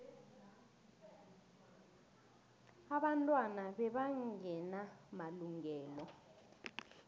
abantwana bebangena malungelo